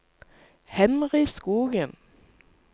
Henry Skogen